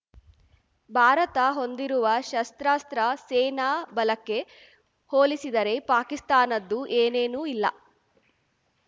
ಭಾರತ ಹೊಂದಿರುವ ಶಸ್ತ್ರಾಸ್ತ್ರ ಸೇನಾ ಬಲಕ್ಕೆ ಹೋಲಿಸಿದರೆ ಪಾಕಿಸ್ತಾನದ್ದು ಏನೇನೂ ಇಲ್ಲ